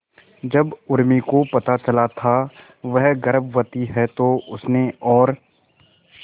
जब उर्मी को पता चला था वह गर्भवती है तो उसने और